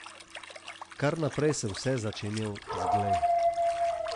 Kar naprej sem vse začenjal z glej.